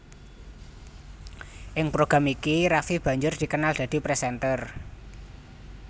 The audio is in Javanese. Ing program iki Raffi banjur dikenal dadi presenter